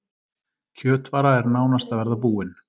Kjötvara er nánast að verða búin